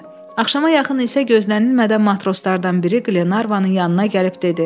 Axşama yaxın isə gözlənilmədən matroslardan biri Qlenarvanın yanına gəlib dedi.